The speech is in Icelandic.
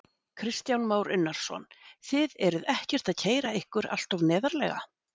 Kristján Már Unnarsson: Þið eruð ekkert að keyra ykkur alltof neðarlega?